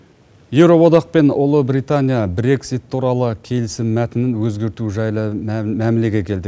еуроодақ пен ұлыбритания брексит туралы келісім мәтінін өзгерту жайлы мәмілеге келді